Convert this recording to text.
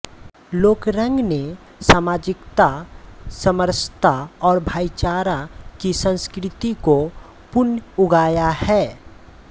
लोकरंग ने सामाजिकता समरसता और भाईचारा की संस्कृति को पुन उगाया है